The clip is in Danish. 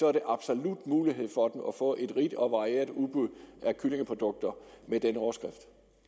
er der absolut mulighed for at få et rigt og varieret udbud af kyllingeprodukter med den overskrift